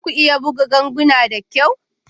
Za ku iya buga ganguna da kyau?